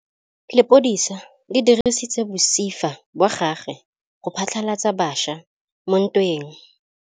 Lepodisa le dirisitse mosifa wa gagwe go phatlalatsa batšha mo ntweng.